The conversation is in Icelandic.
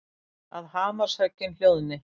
Að hamarshöggin hljóðni.